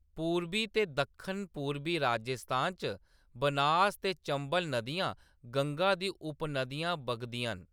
पूर्बी ते दक्खन-पूर्बी राजस्थान च बनास ते चंबल नदियां, गंगा दी उप-नदियां बगदियां न।